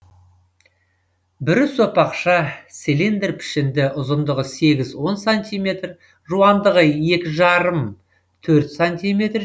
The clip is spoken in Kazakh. бүрі сопақша цилиндр пішінді ұзындығы сегіз он сантиметр жуандығы екі жарым төрт сантиметр